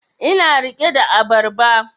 Ina rike da abarba